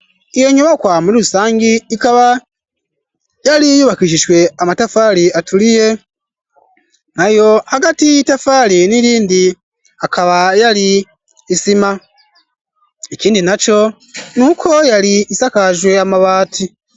Iyo nyobakwa muri rusangi ikaba yari yubakishijwe amatafari aturiye nayo agati itafaali n'irindi akaba yali isima ekindi nacyo nuko yali isakajwe amabati.